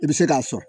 I bɛ se k'a sɔn